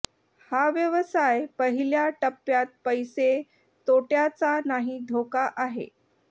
हा व्यवसाय पहिल्या टप्प्यात पैसे तोट्याचा नाही धोका आहे